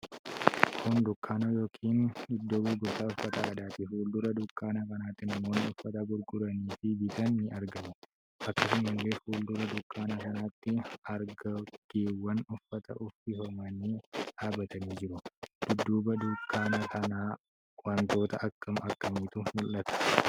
Kun dukkaana yookiin iddoo gurgurtaa uffata aadaati. Fuuldura dukkaana kanaatti namoonni uffata gurguranii fi bitan ni argamu. Akkasumalleee fuuldura dukkaana kanaatti argoggeewan uffata uffifamanii dhaabatanii jiru. Dudduuba dukkaana kanaa wantoota akkam akkamiitu mul'ata?